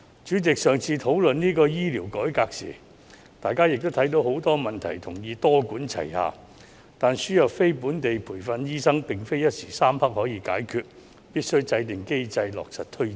主席，在上次討論醫療改革時，大家也看到很多問題，同意必須多管齊下，但輸入非本地培訓醫生並不是一時三刻可以解決的事，必須制訂機制，落實推展。